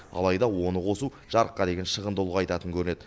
алайда оны қосу жарыққа деген шығынды ұлғайтатын көрінеді